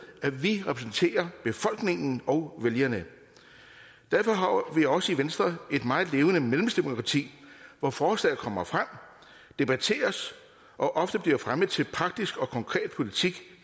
at vi repræsenterer befolkningen og vælgerne derfor har vi også i venstre et meget levende medlemsdemokrati hvor forslag kommer frem debatteres og ofte bliver fremmet til praktisk og konkret politik